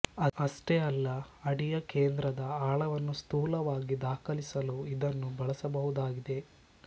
ಅಷ್ಟೇ ಅಲ್ಲ ಅಡಿಯ ಕೇಂದ್ರದ ಆಳವನ್ನು ಸ್ಥೂಲವಾಗಿ ದಾಖಲಿಸಲೂ ಇದನ್ನು ಬಳಸಬಹುದಾಗಿದೆ